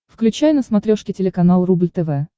включай на смотрешке телеканал рубль тв